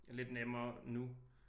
Lidt nemmere nu